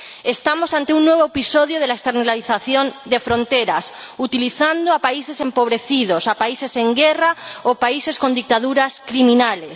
Estamos ante un nuevo episodio de la externalización del control de fronteras, utilizando a países empobrecidos, a países en guerra o a países con dictaduras criminales.